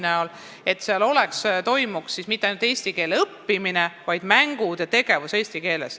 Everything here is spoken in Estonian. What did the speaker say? Soovime, et seal ei toimuks mitte ainult eesti keele õppimine, vaid ka mängud ja muu tegevus oleks eesti keeles.